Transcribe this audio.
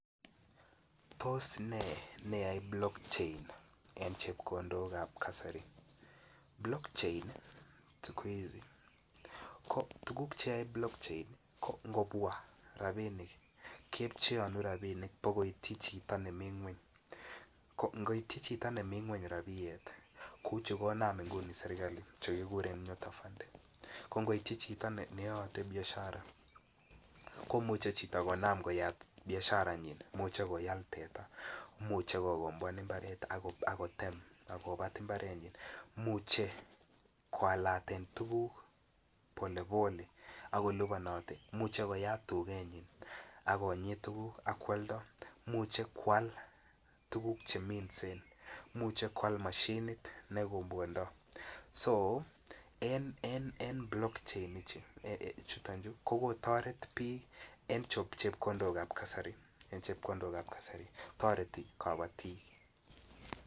Tos ne neyae blockchain ing chepkondok apa kasari, blockchain siku hizi ko tuguk che yoe blockchain ko ngobwaa ketpcheonu rabinik bo koityi chito nemii ngweny ko ngoityi Chito nemii ngweny kouu chu kona serkalit chu kibore nyota funding ko ngoityi chito ne yoite biashara komuche chito konam koyat biasharanyin imuche koal teta imuche kogobwan imbaret ak kotem akobat imbarenyin imuche koalaten tuguk pole pole ako liponote imuche koyat tugenyin akonyit tuguk ak kwoldo imuche kwal tuguk che minsen imuche kwal moshinit nekwobwondo so en en blockchain chuton chu ko kotoret biik en chepkondokab kasari toreti kobotik